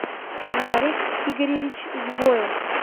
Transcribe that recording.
нарик игоревич сбоев